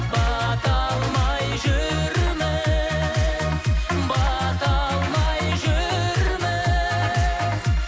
бата алмай жүрміз бата алмай жүрміз